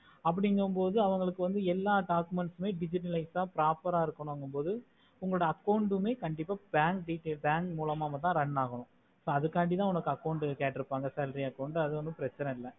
அப்புடிக்கோமோடு அவங்களுக்கு எல்லா documents உம் digitalized தான் proper ஆஹ் இருக்குன்னும்மொடு உங்களோடா account உம்மே கண்டிப்பா pan details pan மூலமா run ஆகும் so அதுக்காண்டித உனக்கு account கேட்டுருப்பாங்க salary account அது வந்து பிரெச்சனை இல்ல ஆஹ்